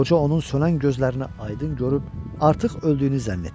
Qoca onun sönən gözlərini aydın görüb artıq öldüyünü zənn etdi.